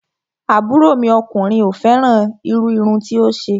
Àbúrò mi ọkùnrin ò fẹ́ràn irú irun tí ó ṣe